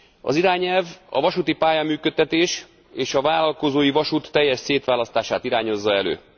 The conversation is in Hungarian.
Az irányelv a vasúti pályán működtetés és a vállalkozói vasút teljes szétválasztását irányozza elő.